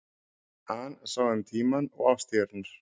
An sá um tímann og árstíðirnar.